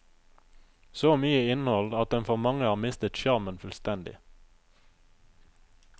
Så mye innhold at den for mange har mistet sjarmen fullstendig.